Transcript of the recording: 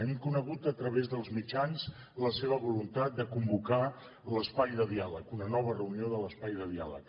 hem conegut a través dels mitjans la seva voluntat de convocar l’espai de diàleg una nova reunió de l’espai de diàleg